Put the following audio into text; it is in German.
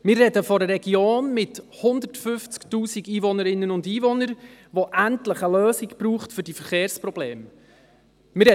Wir sprechen von einer Region mit 150 000 Einwohnerinnen und Einwohnern, die endlich eine Lösung für die Verkehrsprobleme braucht.